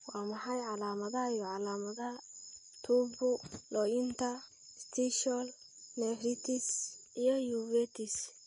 Waa maxay calaamadaha iyo calaamadaha Tubulointerstitial nephritis iyo uveitis?